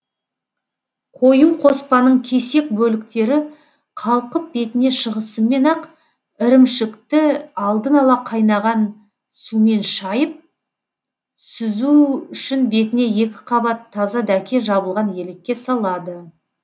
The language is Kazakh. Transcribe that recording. қою қоспаның кесек бөліктері қалқып бетіне шығысымен ақ ірімшікті алдын ала қайнаған сумен шайып сүзу үшін бетіне екі қабат таза дәке жабылған елекке салады